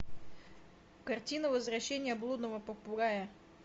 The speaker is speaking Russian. картина возвращение блудного попугая